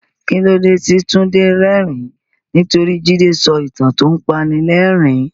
Kí ló dé tí Tunde rẹ́rìn-ín? Nítorí Jide sọ ìtàn tó ń panilẹ́rìn-ín.